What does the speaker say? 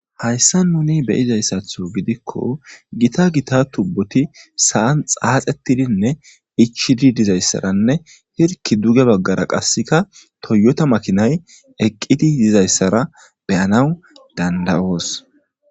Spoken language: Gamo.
Hayssa nuni beyizayssatho gidikko gita gita tubboti saan xaaxettidinne ichidi dizayssaranne hirki duge baggara qasseka toyyota makinay eqqidi dizayssara beyanaw danda'oos.